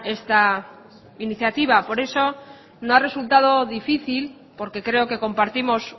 esta iniciativa por eso no ha resultado difícil porque creo que compartimos